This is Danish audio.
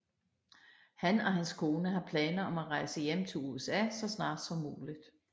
Han og hans kone har planer om at rejse hjem til USA så snart som muligt